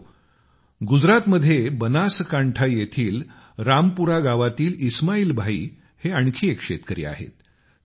मित्रहो गुजरातमध्ये बनासकांठा येथील रामपुरा गावातील इस्माईल भाई हे आणखी एक शेतकरी आहेत